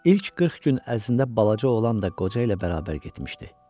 İlk 40 gün ərzində balaca oğlan da qoca ilə bərabər getmişdi.